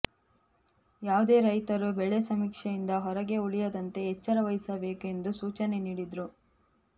ಯಾವುದೇ ರೈತರು ಬೆಳೆ ಸಮೀಕ್ಷೆಯಿಂದ ಹೊರಗೆ ಉಳಿಯದಂತೆ ಎಚ್ಚರವಹಿಸಬೇಕು ಎಂದು ಸೂಚನೆ ನೀಡಿದರು